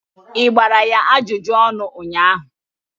ị gbara ya ajụjụ ọnụ ụnyahụ?